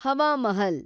Hawa Mahal